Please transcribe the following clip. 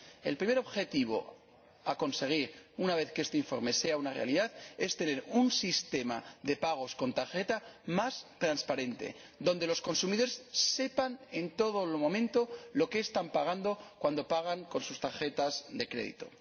El primer objetivo que debemos conseguir una vez que este informe sea una realidad es un sistema de pagos con tarjeta más transparente, en el que los consumidores sepan en todo momento lo que están pagando cuando pagan con sus tarjetas de crédito.